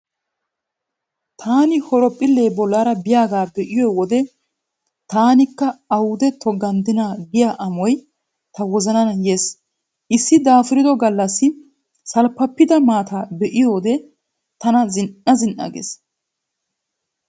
Taani horoophphillee bollaara paalliyaagaa be"iyo wode 'taanikka awude a togganddinaa' giya Amoy ta wozanan yees. Issi daafurido gallassi salppappida maataa be'iyoode tana zin"a zin" a gees.